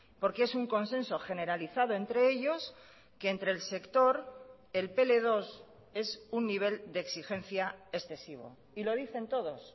porque es un consenso generalizado entre ellos que entre el sector el pl dos es un nivel de exigencia excesivo y lo dicen todos